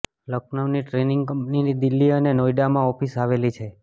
લખનઉની trading કંપનીની દિલ્હી અને નોઈડામાં ઓફિસ આવેલી છે